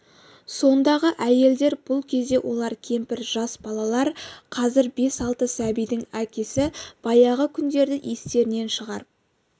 сондағы әйелдер бұл кезде олар кемпір жас балалар қазір бес-алты сәбидің әкесі баяғы күндерді естерінен шығарып